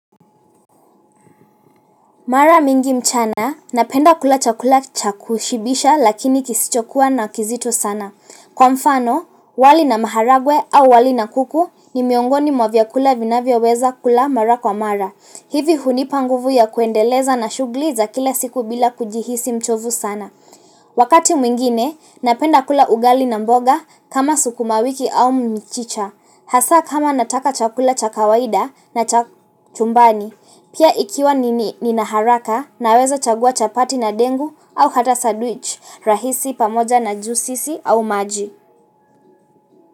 Mara mingi mchana, napenda kula chakula chakushibisha lakini kisichokuwa na kizito sana. Kwa mfano, wali na maharagwe au wali na kuku ni miongoni mwa vyakula ninavyoweza kula mara kwa mara. Hivi hunipanguvu ya kuendeleza na shughli za kila siku bila kujihisi mchovu sana. Wakati mwingine, napenda kula ugali na mboga kama sukumawiki au mchicha. Hasa kama nataka chakula chakawaida na chumbani, pia ikiwa nini nina haraka na weza chagua chapati na dengu au hata sandwich rahisi pamoja na juisi au maji.